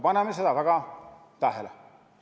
Paneme seda väga tähele!